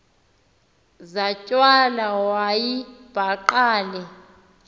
zatywala wayibhaqa le